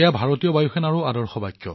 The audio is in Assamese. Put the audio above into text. এইটো ভাৰতীয় বায়ু সেনাৰ মূলমন্ত্ৰ